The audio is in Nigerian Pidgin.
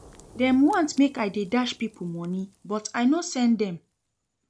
Dem want make I dey dash pipo moni but I no send dem.